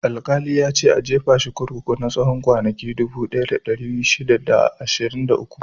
Alƙali ya ce "A jefa shi a kurkuku na tsawon kwanaki dubu ɗaya da ɗari shida da ashirin da uku!"